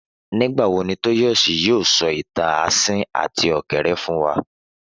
Nígbà wo Tóyọ̀sí yóò sọ ìtàn asín àti ọ̀kẹ́rẹ́ fún wa?